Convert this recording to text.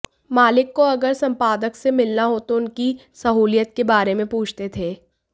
मालिक को अगर संपादक से मिलना हो तो उनकी सहूलियत के बारे में पूछते थे